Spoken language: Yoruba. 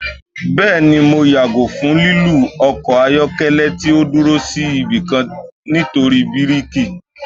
Bẹẹni, Mo yago fun lilu ọkọ ayọkẹlẹ ti o duro si ibikan nitori birki